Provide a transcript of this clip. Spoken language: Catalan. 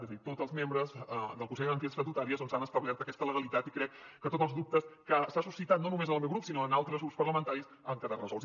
és a dir tots els membres del consell de garanties estatutàries doncs han establert aquesta legalitat i crec que tots els dubtes que s’han suscitat no només en el meu grup sinó en altres grups parlamentaris han quedat resolts